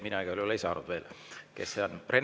Mina igal juhul ei saanud veel, kes see on.